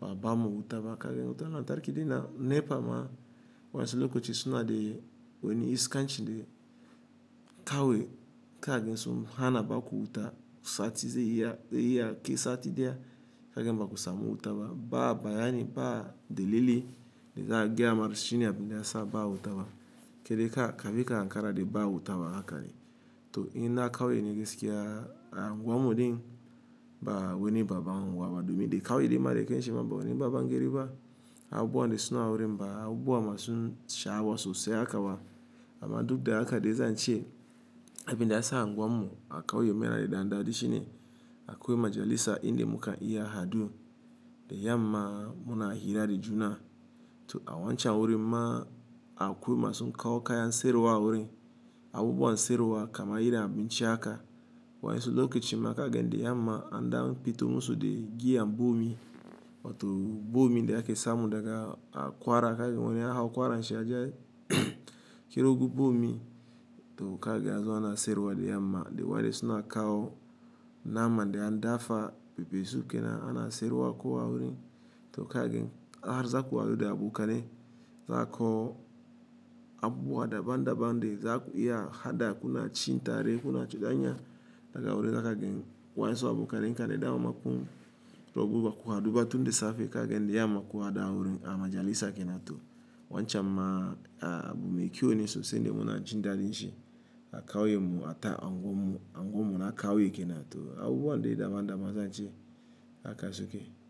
ba ba mu wuta ba kagen wuta lantarki dai na NEPA ma wasu lokaci suna dai wani iskaanci dai kawai kagen suna hana baku wuta sati zai iya, zai iya kai sati ɗaya kagen baku samu wuta ba. Ba bayani ba dalili dai za a gaya wa mutum shine abin da ya sa ba wuta ba. Ke dai ka, ka bi ka hankara dai ba wuta ba haka ne. To ina kawo yake gaskiya a unguwar mu din ba wani baba wurin kuwa ba domin dai kawai dai ma dai ƙanshi ma babu wani baba gari ba. Abubuwan dai suna wurin ba abubuwa masu sha'awa sosai haka ba amma duk da haka dai zan ce abin da ya sa unguwar mu a kawo ya mayar da dandaɗi shine akwai majalisa inda muka iya hadu dai yam ma muna hira da juna. To a wancan wurin ma akwai masu kawo kaya siyarwa wurin Abubuwan sirriwa kama irin abinci haka. Wasu lokacin ma kagen dai yam ma an dafa bito musu dai giya bombi wato bombi da ake samu daga akwara kagen wani aka aƙwara an sha ya kiru bombi to kagen hazo ana sirriwa dai yam ma dai waɗanda suna kawo nama dai an dafa be bezu ke nan ana sirriwa akowa wurin to kagen har za ku haɗu dai a buƙar ne. Za ku habuɓuwa daban-daban dai za ku iya haɗa kuna cin tare kuna ci ganya daga wurin haka kagen waye su a buƙar in ka dai dawo ma kun to goguwa ku haɗu ba tunda safe kagen dai yam ma kuwa da a wurin ama jalisa ke nan to wancan ma a bumu ikiwo ne sosai dai muna cin dariya shi a kawo ya mu a ta unguwar mu, unguwar mu na kawo yake nan to habuɓuwan dai daban-daban zan ce haka suke.